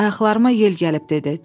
Ayaqlarıma yel gəlib dedi.